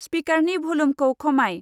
स्पिकारनि भलुमखौ खमाय।